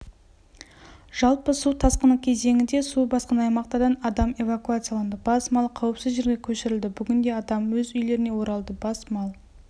жалпы су тасқыны кезеңінде су басқан аймақтардан адам эвакуацияланды бас мал қауіпсіз жерге көшірілді бүгінде адам өз үйлеріне оралды бас мал